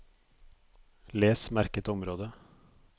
Les merket område